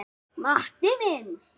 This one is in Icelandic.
Matti minn.